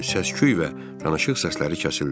Səsküy və danışıq səsləri kəsildi.